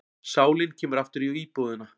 Sálin kemur aftur í íbúðina.